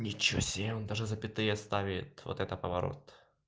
ничего себе он даже запятые ставит вот это поворот